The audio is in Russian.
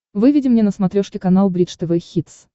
выведи мне на смотрешке канал бридж тв хитс